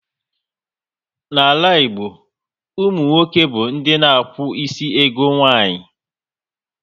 N'ala Igbo, ụmụ nwoke bụ ndị na akwụ isi ego nwanyị